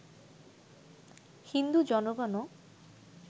Hindu জনগণও